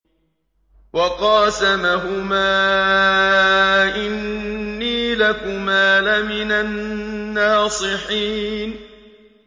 وَقَاسَمَهُمَا إِنِّي لَكُمَا لَمِنَ النَّاصِحِينَ